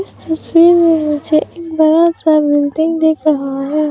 इस तस्वीर में मुझे एक बड़ा सा बिल्डिंग दिख रहा है।